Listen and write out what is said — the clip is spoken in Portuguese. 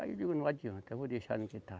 Aí eu digo, não adianta, eu vou deixar no que tá.